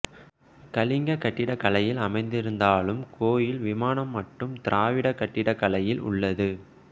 கலிங்கக் கட்டிடக்கலையில் அமைந்திருந்தாலும் கோயில் விமானம் மட்டும் திராவிடக் கட்டிடக்கலையில் உள்ளது